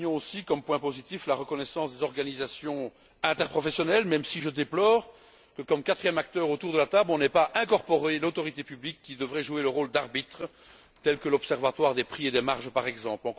Soulignons aussi comme point positif la reconnaissance des organisations interprofessionnelles, même si je déplore que, comme quatrième acteur autour de la table, on n'ait pas incorporé l'autorité publique, qui devrait jouer le rôle d'arbitre, comme l'observatoire des prix et des marges par exemple.